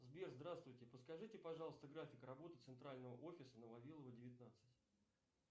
сбер здравствуйте подскажите пожалуйста график работы центрального офиса на вавилова девятнадцать